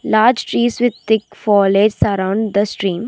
Large trees with thick fall is surround the stream.